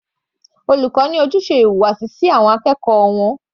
Olùkọ́ ní ojúṣe ìwà láti kọ́ àwọn akẹ́kọ̀ọ́ wọn.